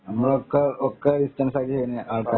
നമ്മൾ ഒക്കെ ഡിസ്റ്റൻസ് ആക്കി തന്നെ പഠിച്ചത്